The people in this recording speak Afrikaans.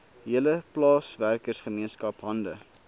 hele plaaswerkergemeenskap hande